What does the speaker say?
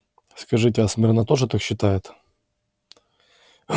скажите а смирно тоже так считает